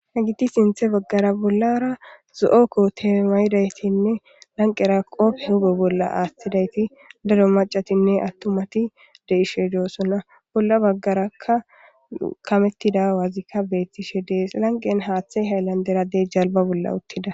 he giti sinthe baggara bollara zo7okko teemayidaytinne lanqera qopfe hube bolla aashthidayti daro macatinne attumati deishe doossona bolla Haggarakka kamettida wazikka beettishe dees lanqen haaththey hayllandera de jalba bolla uttida.